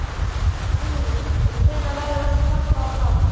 Hugrún: Og hvenær verður allt klappað og klárt?